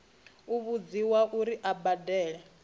u vhudziwa uri a badele